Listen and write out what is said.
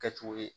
Kɛcogo ye